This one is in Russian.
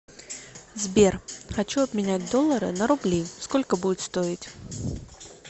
сбер хочу обменять доллары на рубли сколько будет стоить